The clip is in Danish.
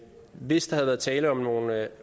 hvis der havde været tale om nogle